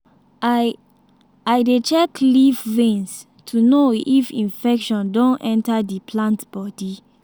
i i dey check leaf veins to know if infection don enter the plant body